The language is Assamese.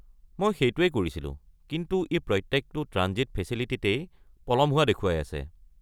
মই সেইটোৱেই কৰিছিলোঁ, কিন্তু ই প্ৰত্যেকটো ট্ৰাঞ্জিট ফেচিলিটিতেই পলম হোৱা দেখুৱাই আছে।